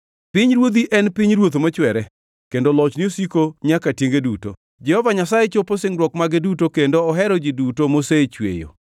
Pinyruodhi en pinyruoth mochwere, kendo lochni osiko nyaka tienge duto. Jehova Nyasaye chopo singruok mage duto kendo ohero ji duto mosechweyo.